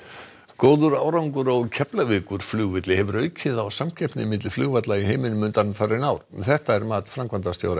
góður árangur á Keflavíkurflugvelli hefur aukið á samkeppni milli flugvalla í heiminum undanfarin ár þetta er mat framkvæmdastjóra